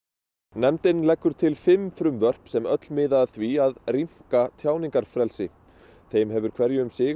nefndin leggur til fimm frumvörp sem öll miða að því að rýmka tjáningarfrelsi þeim hefur hverju um sig